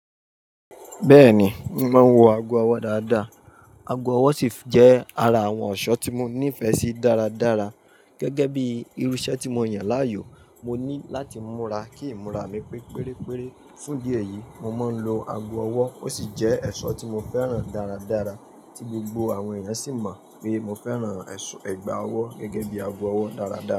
Bẹ́ẹ̀ni, mo máa ń wọ ago ọwọ́ dáadáa. Ago ọwọ́ sif jẹ́ ara àwọn ẹ̀ṣọ́ tí mo nífẹ̀ẹ́ sí dáradára. Gẹ́gẹ́ bí irú iṣẹ́ tí mo yàn láàyò, mo ní láti múra kí ìmúra mi pé pérépere. Fún idí ẹ̀yìí, mo máa ń lo ago ọwọ́ ó sì jẹ́ ẹ̀ṣọ́ tí mo fẹ́ràn dáradára tí gbogbo àwọn ènìyàn sì mọ̀ pé mo fẹ́ràn ẹ̀ṣọ́ ẹgba ọwọ́ gẹ́gẹ́ bí ago ọwọ́ dáradára.